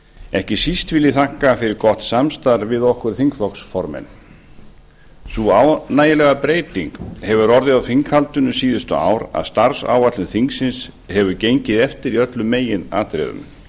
ekki síst vil ég þakka fyrir gott samstarf við okkur þingflokksformenn sú ánægjulega breyting hefur orðið á þinghaldinu síðustu ár að starfsáætlun þingsins hefur gengið eftir í öllum meginatriðum